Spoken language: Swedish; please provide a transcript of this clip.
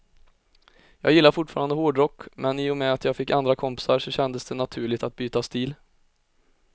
Jag gillar fortfarande hårdrock, men i och med att jag fick andra kompisar så kändes det naturligt att byta stil.